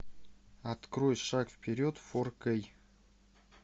открой шаг вперед фор кей